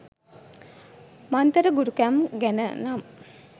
මන්තර ගුරුකම් ගැන නම්.